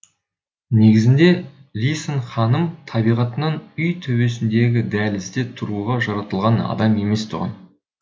негізінде лисон ханым табиғатынан үй төбесіндегі дәлізде тұруға жаратылған адам емес тұғын